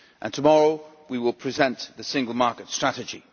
Tomorrow we will present the single market strategy.